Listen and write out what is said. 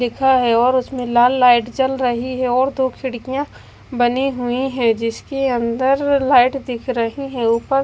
लिखा है और उसमें लाल लाइट जल रही है और दो खिड़कियां बनी हुई हैं जिसके अंदर लाइट दिख रही है ऊपर--